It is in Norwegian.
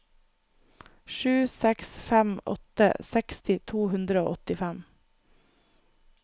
sju seks fem åtte seksti to hundre og åttifem